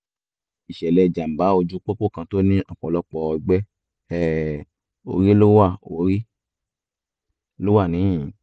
ìṣẹ̀lẹ̀ jàǹbá ojú pópó kan tó ní ọ̀pọ̀lọpọ̀ ọgbẹ́ um orí ló wà orí ló wà níhìn-ín